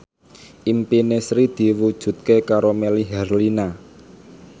impine Sri diwujudke karo Melly Herlina